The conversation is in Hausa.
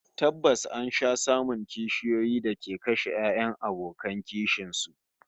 Tabbas an sha samun kishiyoyi da ke kashe 'ya'yan abokan kishin su